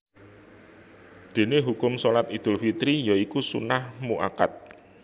Déné hukum Shalat Idul Fitri ya iku sunnah mu akkad